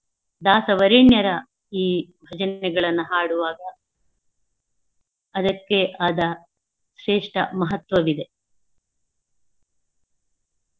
ದಾಸವರೆನ್ನರ ಈ ಭಜನೆಗಳನ್ನು ಹಾಡುವಾಗ ಅದಕ್ಕೆ ಆದ ಶ್ರೇಷ್ಠ ಮಹತ್ವವಿದೆ.